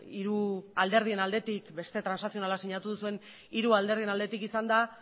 ikusi duguna beste transazionala sinatu duzuen hiru alderdien aldetik